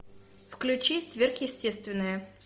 включи сверхъестественное